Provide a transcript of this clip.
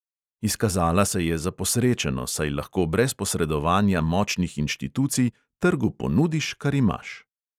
Izkazala se je za posrečeno, saj lahko brez posredovanja močnih inštitucij trgu ponudiš, kar imaš.